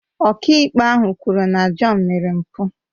Ọkàikpe ahụ kwuru na John mere mpụ